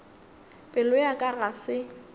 pelo ya ka ga se